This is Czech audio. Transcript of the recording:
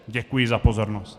Děkuji za pozornost.